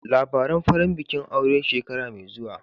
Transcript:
Labaran farin bikin aure shekara mai zuwa